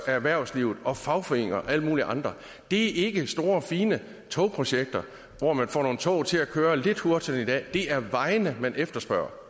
erhvervslivet og fagforeninger og alle mulige andre det er ikke store fine togprojekter hvor man får nogle tog til at køre lidt hurtigere end i dag det er vejene man efterspørger